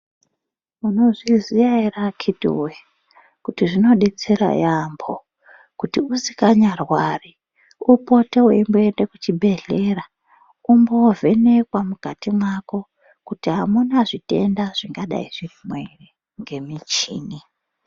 Munozviziya ere akhiti voye kuti zvinobetsera yaambo. Kuti usikanyarwari upote veimboende kuchibhedhlera umbovhenekwa mukati mwako. Kuti hamuna zvitenda zvingadai zvirimwo ere ngemichini.